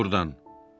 Get burdan.